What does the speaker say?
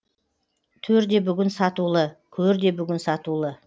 төр де бүгін сатулы көр де бүгін сатулы